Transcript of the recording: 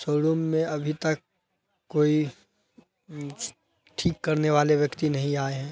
छोडून में अभी तक कोई उम्म ठीक करने वाले व्यक्ति नहीं आये हैं।